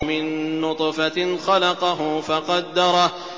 مِن نُّطْفَةٍ خَلَقَهُ فَقَدَّرَهُ